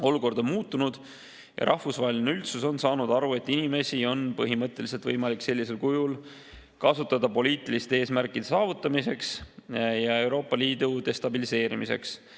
Olukord on muutunud ja rahvusvaheline üldsus on aru saanud, et inimesi on põhimõtteliselt võimalik sellisel kujul kasutada poliitiliste eesmärkide saavutamiseks ja Euroopa Liidu destabiliseerimiseks.